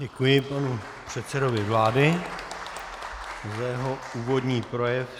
Děkuji panu předsedovi vlády za jeho úvodní projev.